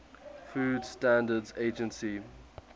food standards agency